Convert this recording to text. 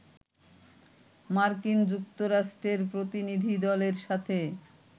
মার্কিন যুক্তরাষ্ট্রের প্রতিনিধিদলের সাথে